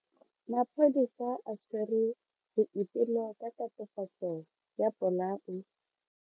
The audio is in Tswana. Maphodisa a tshwere Boipelo ka tatofatso ya polao.